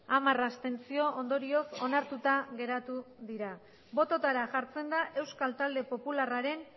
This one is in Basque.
hamar abstentzio ondorioz onartuta geratu da bototara jartzen da euskal talde popularraren